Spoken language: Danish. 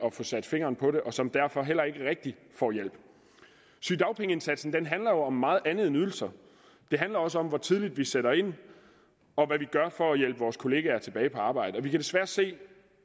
at få sat fingeren på og som derfor heller ikke rigtigt får hjælp sygedagpengeindsatsen handler jo om meget andet end ydelser det handler også om hvor tidligt vi sætter ind og hvad vi gør for at hjælpe vores kollegaer tilbage på arbejde vi kan desværre se